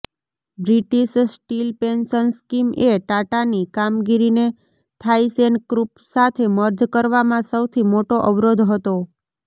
British Steel pension scheme એ ટાટાની કામગીરીને થાઇસેનક્રુપ સાથે મર્જ કરવામાં સૌથી મોટો અવરોધ હતો